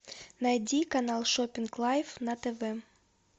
найди канал шопинг лайф на тв